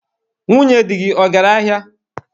Nwunye dị gị, ọ gara ahịa?